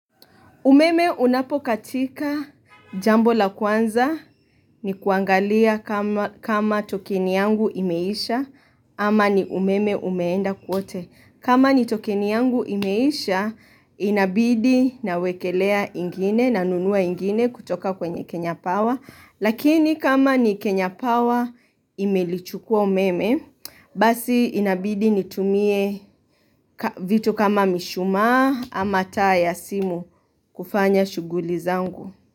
Umeme unapokatika jambo la kwanza ni kuangalia kama tokeni yangu imeisha ama ni umeme umeenda kote. Kama ni tokeni yangu imeisha inabidi nawekelea ingine na nunua ingine kutoka kwenye Kenya Power. Lakini kama ni Kenya Power imelichukua umeme, basi inabidi nitumie vitu kama mishumaa ama taa ya simu kufanya shughuli zangu.